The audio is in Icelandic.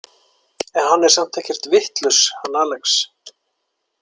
En hann er samt ekkert vitlaus, hann Alex.